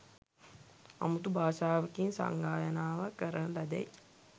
අමුතු භාෂාවකින් සංගායනාව කරන ලදැයි